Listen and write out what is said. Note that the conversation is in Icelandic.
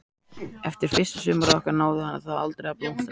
Eftir fyrsta sumarið okkar náði það aldrei að blómstra.